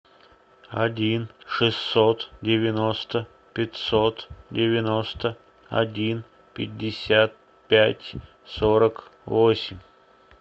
один шестьсот девяносто пятьсот девяносто один пятьдесят пять сорок восемь